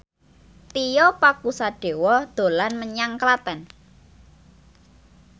Tio Pakusadewo dolan menyang Klaten